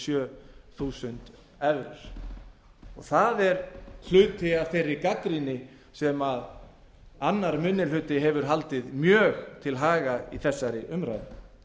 sjö þúsund evrur það er hluti af þeirri gagnrýni sem annar minni hluti hefur haldið mjög til haga í þessari umræðu